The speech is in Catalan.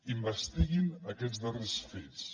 investiguin aquests darrers fets